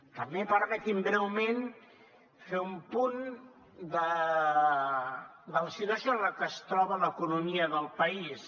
també permetin me breument fer un apunt de la situació en la que es troba l’economia del país